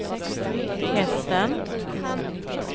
hästen